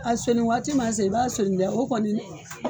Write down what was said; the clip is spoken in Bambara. A sonni waati m'a se, i b'a sonni dɛ, o kɔni